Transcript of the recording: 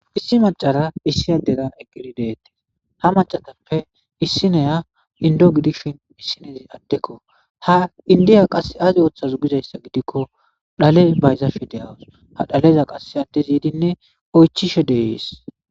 Issi maccara issi addera eqqidi de'ettes ha maccatappe issinneya enddo gidishin issinezi addekko ha endiya azi oththaze gikko dhale bayizashe dawus ha dhaleza qase addezi yiddine oychchishe de'esi.